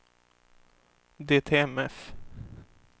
DTMF